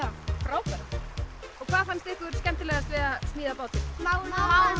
frábært hvað fannst ykkur skemmtilegast við að smíða bátinn mála